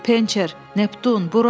"Pençer, Neptun, bura!"